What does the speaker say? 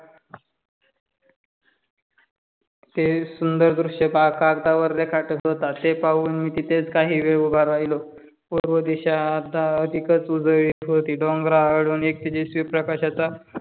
ते सुंदर दृश्य कागदावर रेखाटत होता ते पाहून मी तिथेच काहीवेळ उभा राहिलो. पूर्व दिशा आता अधिकच उजळली होती. डोंगराआडून एक तेजस्वी प्रकाशाचा